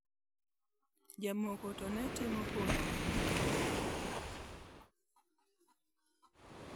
Jomoko to ne timo honni ma kamago.